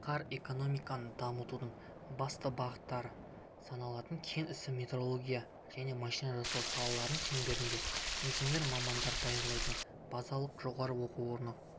қар экономиканы дамытудың басты бағыттары саналатын кен ісі металлургия және машина жасау салаларына шеңберінде инженер мамандар даярлайтын базалық жоғары оқу орны